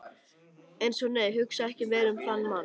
Eins og- nei, hugsa ekki meira um þann mann!